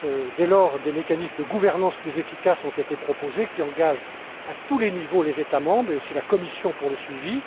Dès lors, des mécanismes de gouvernance plus efficaces ont été proposés, qui engagent à tous les niveaux les États membres, mais aussi la Commission pour le suivi.